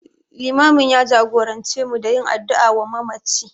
Limamin ya jagorance mu da yin addu'a wa mamaci.